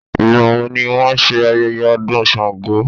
Ìgbà wo ni wón ṣe ayẹyẹ ọdún Sàngó?